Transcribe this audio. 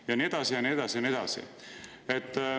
Ja nii edasi ja nii edasi ja nii edasi.